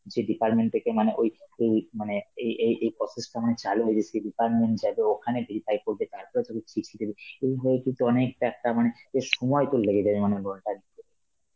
যেই department থেকে মানে ওই~ ওই মানে এই এই~ এই process টা মানে চালু হয়ে সেই department যাবে, ওখানে verify করবে তারপরে তোকে চিঠি দেবে, এই হয় কিন্তু অনেকটা একটা মানে এ সময় তোর লেগে যাবে অনেক বড় .